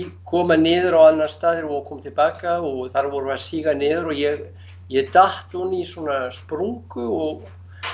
koma niður á annan stað þegar við vorum að koma til baka og þar vorum við að síga niður og ég ég datt ofan í svona sprungu og